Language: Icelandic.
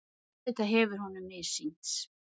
Auðvitað hefur honum missýnst.